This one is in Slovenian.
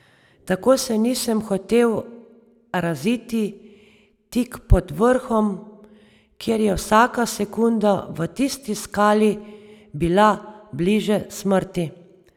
Tako se nisem hotel raziti tik pod vrhom, ker je vsaka sekunda v tisti skali bila bliže smrti.